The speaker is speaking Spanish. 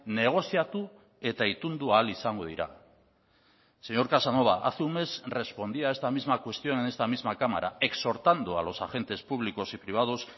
negoziatu eta itundu ahal izango dira señor casanova hace un mes respondía a esta misma cuestión en esta misma cámara exhortando a los agentes públicos y privados